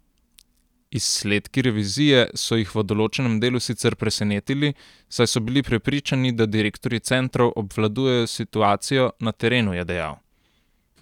Izsledki revizije so jih v določenem delu sicer presenetili, saj so bili prepričani, da direktorji centrov obvladujejo situacijo na terenu, je dejal.